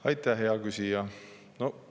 Aitäh, hea küsija!